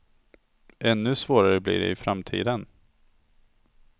Ännu svårare blir det i framtiden.